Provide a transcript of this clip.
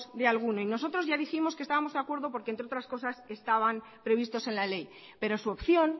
de alguno nosotros ya dijimos que estábamos de acuerdo porque entre otras cosas estaban previstos en la ley pero su opción